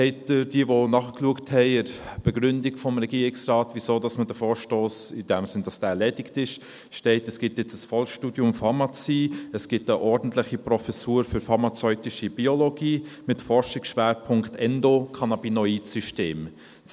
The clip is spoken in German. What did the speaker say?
Wie diejenigen, die nachgeschaut haben, gesehen haben, steht in der Begründung des Regierungsrates, weshalb der Vorstoss erledigt sei, nämlich, weil es jetzt ein Vollzeitstudium Pharmazie und eine ordentliche Professur für pharmazeutische Biologie mit Forschungsschwerpunkt Endocannabinoid-System gibt.